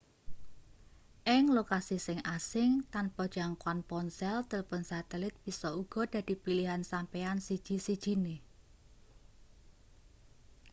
ing lokasi sing asing tanpa jangkoan ponsel tilpon satelit bisa uga dadi pilihan sampeyan siji-sijine